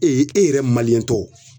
e yɛrɛ tɔw